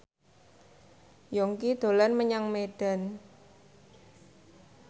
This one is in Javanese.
Yongki dolan menyang Medan